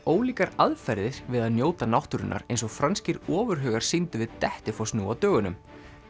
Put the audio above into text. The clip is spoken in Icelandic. ólíkar aðferðir við að njóta náttúrunnar eins og franskir ofurhugar sýndu við Dettifoss nú á dögunum